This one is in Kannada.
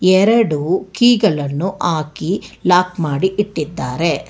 ಎರಡು ಕೀ ಗಳನ್ನು ಹಾಕಿ ಲಾಕ್ ಮಾಡಿ ಇಟ್ಟಿದ್ದಾರೆ.